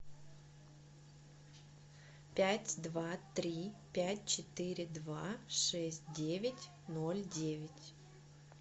пять два три пять четыре два шесть девять ноль девять